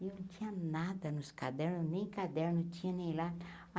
E não tinha nada nos cadernos, nem caderno, tinha nem lá.